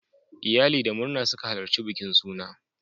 Iyali da murna suka halarci bikin suna.